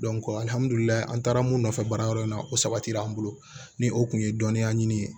an taara mun nɔfɛ baara yɔrɔ in na o sabatira an bolo ni o kun ye dɔnniya ɲini ye